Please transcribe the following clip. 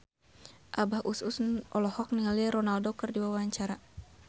Abah Us Us olohok ningali Ronaldo keur diwawancara